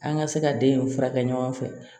An ka se ka den in furakɛ ɲɔgɔn fɛ